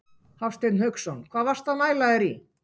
Hafsteinn Hauksson: Hvað varstu að næla þér í?